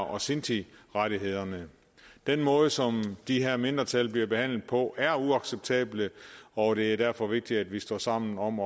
og sintirettighederne den måde som de her mindretal bliver behandlet på er uacceptabel og det er derfor vigtigt at vi står sammen om